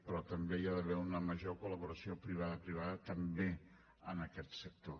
però també hi ha d’haver una major col·laboració privada privada també en aquest sector